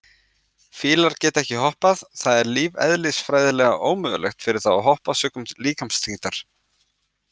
Fílar geta ekki hoppað, það er lífeðlisfræðilega ómögulegt fyrir þá að hoppa sökum líkamsþyngdar.